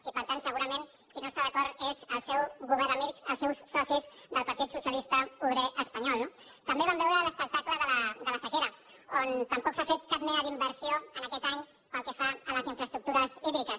i per tant segurament qui no hi està d’acord és el seu govern amic els seus socis del partit socialista obrer espanyol no també vam veure l’espectacle de la sequera on tampoc s’ha fet cap mena d’inversió aquest any pel que fa a les infraestructures hídriques